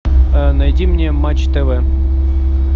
найди мне матч тв